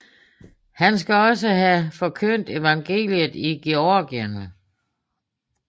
Han skal også have forkyndt evangeliet i Georgien